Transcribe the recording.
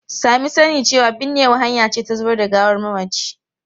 Sami sani cewa binnewa hanya ce ta zubar da gawar mamaci.